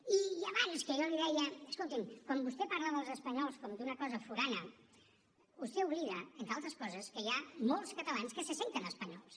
i abans que jo li deia escolti’m quan vostè parla dels espanyols com d’una cosa forana vostè oblida entre altres coses que hi ha molts catalans que se senten espanyols